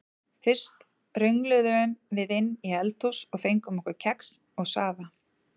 Fyrst röngluðum við inn í eldhús og fengum okkur kex og safa.